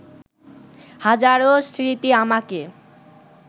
হাজারো স্মৃতি আমাকে